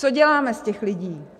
Co děláme z těch lidí?